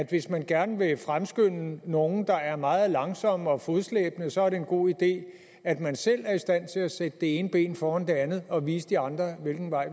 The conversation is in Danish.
hvis man gerne vil skynde på nogle der er meget langsomme og fodslæbende så er det en god idé at man selv er i stand til at sætte det ene ben foran det andet og vise de andre hvilken vej